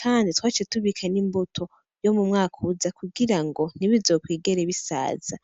,kandi twaciye tubika n'imbuto yo mumwaka uza kugirango ntibizo kwigere bisaza.